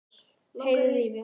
Heyriði í mér?